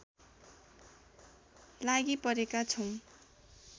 लागिपरेका छौँ